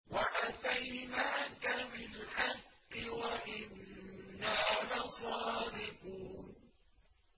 وَأَتَيْنَاكَ بِالْحَقِّ وَإِنَّا لَصَادِقُونَ